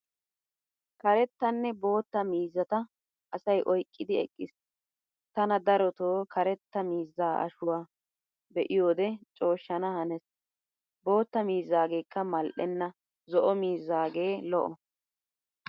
Karettanne bootta miizzata asay oyqqiddi eqqiis. Tana darotoo karetta miizzaa shuwa be'iyode cooshshana hanees, bootta miizzaagekka mal'enna zo"o miizzaage lo"o.